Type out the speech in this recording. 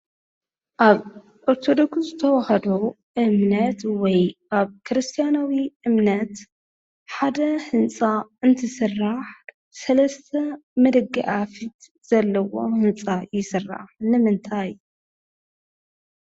ኣብ ኦርቶዶክስ ተዋህዶ እምነት ወይ ኣብ ክርስትያናዊ እምነት ሓደ ህንፃ እንትስራሕ ሰለስተ ንደገ ኣፍ ዘለዎ ህንፃ ይስራሕ ንምንታይ?